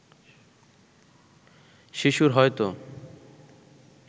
শিশুর হয়তো